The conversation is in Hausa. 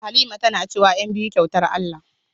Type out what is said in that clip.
Halima tana cewa "ƴanbiyu kyautar Allah"